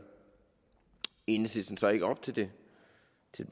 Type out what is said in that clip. enhedslisten så ikke op til det